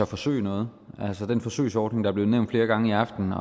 forsøge noget altså den forsøgsordning er blevet nævnt flere gange i aften